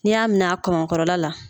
N'i y'a minɛ a kamakɔrɔla la